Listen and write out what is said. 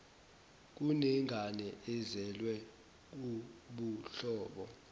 kunengane ezelwe kubuhlobo